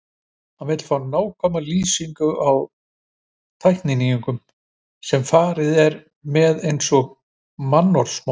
Hann vill fá nákvæmar lýsingar á tækninýjungum, sem farið er með eins og mannsmorð!